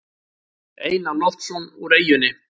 Einar Loftsson úr eyjunni.